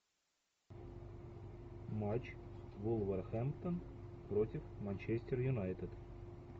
матч вулверхэмптон против манчестер юнайтед